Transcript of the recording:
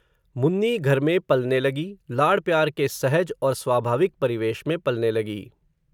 मुन्नी घर में पलने लगी, लाड प्यार के सहज, और स्वाभाविक परिवेश में पलने लगी